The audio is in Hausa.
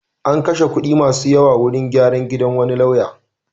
An kashe kuɗi masu yawa wurin gyran gidan wani lauya.